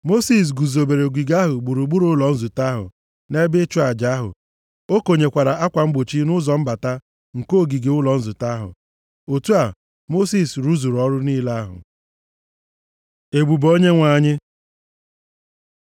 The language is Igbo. Mosis guzobere ogige ahụ gburugburu ụlọ nzute ahụ na ebe ịchụ aja ahụ. O konyekwara akwa mgbochi nʼụzọ mbata nke ogige ụlọ nzute ahụ. Otu a, Mosis rụzuru ọrụ niile ahụ. Ebube Onyenwe anyị